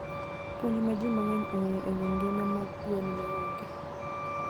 Puonj ma ji mang'eny ong'eyo e wi ngima mag gwen ne onge.